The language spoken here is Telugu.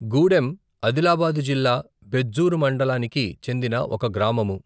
గూడెం ఆదిలాబాదు జిల్లా బెజ్జూర్ మండలానికి చెందిన ఒక గ్రామము.